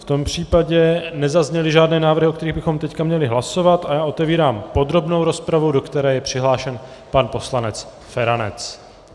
V tom případě nezazněly žádné návrhy, o kterých bychom teď měli hlasovat, a já otevírám podrobnou rozpravu, do které je přihlášen pan poslanec Feranec.